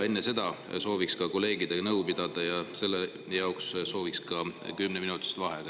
Enne seda sooviksime ka kolleegidega nõu pidada ja selleks sooviksime ka kümneminutilist vaheaega.